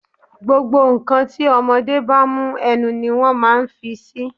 Gbogbo ǹ kan tí ọmọdé bá mú, ẹnu ni wón máa ń fi sí.